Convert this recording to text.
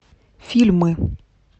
фильмы